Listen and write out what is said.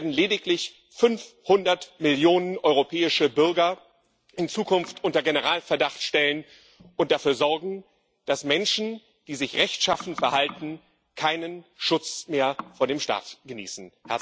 Sie werden lediglich 500 Millionen europäische Bürger in Zukunft unter Generalverdacht stellen und dafür sorgen, dass Menschen, die sich rechtschaffen verhalten, keinen Schutz mehr vor dem Staat genießen.